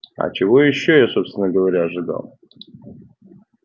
а чего ещё я собственно говоря ожидал